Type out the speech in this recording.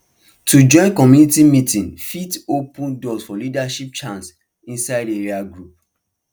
to join community meeting fit open door for leadership chance inside area group